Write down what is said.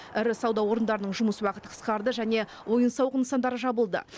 ірі сауда орындарының жұмыс уақыты қысқарды және ойын сауық нысандары жабылды